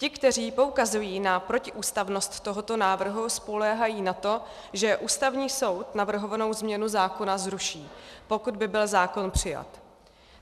Ti, kteří poukazují na protiústavnost tohoto návrhu, spoléhají na to, že Ústavní soud navrhovanou změnu zákona zruší, pokud by byl zákon přijat.